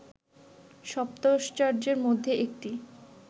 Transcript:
সপ্তাশ্চর্যের মধ্যে একটি